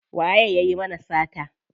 Waye yayi mana sata?